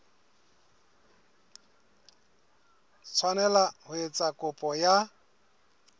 tshwanela ho etsa kopo ya